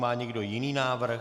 Má někdo jiný návrh?